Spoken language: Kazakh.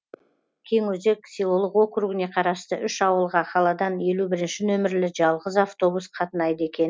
кеңөзек селолық округіне қарасты үш ауылға қаладан елу бірінші нөмірлі жалғыз автобус қатынайды екен